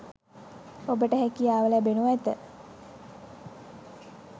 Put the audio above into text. ඔබට හැකියාව ලැබෙනු ඇත.